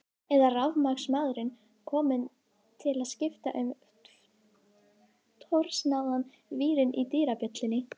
Eða rafmagnsmaðurinn kominn til að skipta um trosnaðan vírinn í dyrabjöllunni.